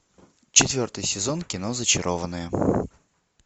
четвертый сезон кино зачарованные